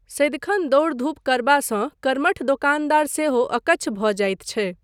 सदिखन दौड़ धूप करबासँ कर्मठ दोकानदार सेहो अकच्छ भऽ जाइत छै।